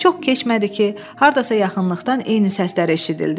Çox keçmədi ki, hardasa yaxınlıqdan eyni səslər eşidildi.